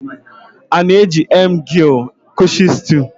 A na-eji emgly kwụsị stool